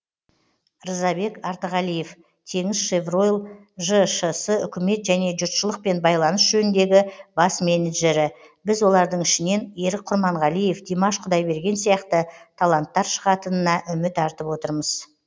рзабек артығалиев теңізшевройл жаупкершілігі шектеулі серіктестік үкімет және жұртшылықпен байланыс жөніндегі бас менеджері біз олардың ішінен ерік құрманғалиев димаш құдайберген сияқты таланттар шығатынына үміт артып отырмыз